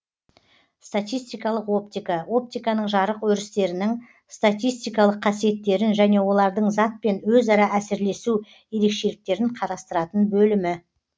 статистикалық оптика оптиканың жарық өрістерінің статистикалык қасиеттерін және олардың затпен өзара әсерлесу ерекшеліктерін карастыратын бөлімі